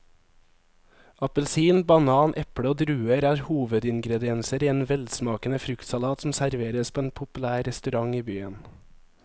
Appelsin, banan, eple og druer er hovedingredienser i en velsmakende fruktsalat som serveres på en populær restaurant i byen.